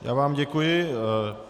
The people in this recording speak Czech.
Já vám děkuji.